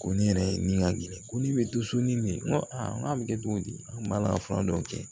Ko ne yɛrɛ nin ka gɛlɛn ko ni bɛ to so ni ne ye n ko aa n k'a bɛ kɛ cogo di an b'a la fura dɔw kɛ